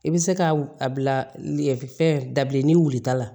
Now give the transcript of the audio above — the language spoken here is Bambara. I bɛ se ka a bila fɛn dabileni wulita la